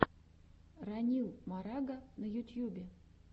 ранил марага на ютьюбе